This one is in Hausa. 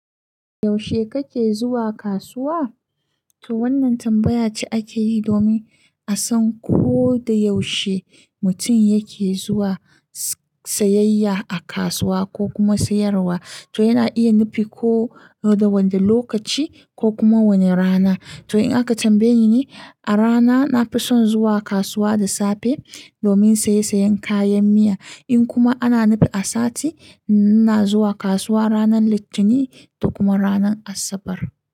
Yaushe kake zuwa kasuwa? To wannan tambaya ce ake yi domin a san ko da yaushe mutum yake zuwa sayayya a kasuwa ko kuma sayarwa. To yana iya nufi ko da wanda lokaci ko kuma wane rana. To in aka tambaye ni, a rana nafi son zuwa kasuwa da safe domin saye sayen kayan miya. In kuma ana nufi a sati, ina zuwa kasuwa ranar Litinin da kuma ranar Asabar.